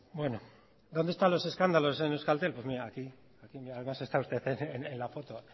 bueno dónde están los escándalos en euskaltel pues mire aquí además está usted en la foto